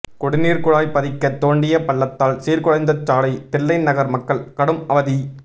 குடிநீர் குழாய் பதிக்க தோண்டிய பள்ளத்தால் சீர்குலைந்த சாலை தில்லைநகர் மக்கள் கடும் அவதி